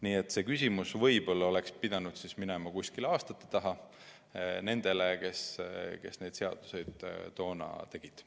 Nii et see küsimus oleks võib-olla pidanud minema kuskile aastate taha, nendele, kes neid seadusi toona tegid.